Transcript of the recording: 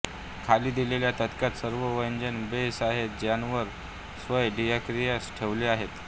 खाली दिलेल्या तक्त्यात सर्व व्यंजन बेस आहेत ज्यावर स्वर डायक्रिटिक्स ठेवले आहेत